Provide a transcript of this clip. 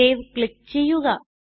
save click ചെയ്യുക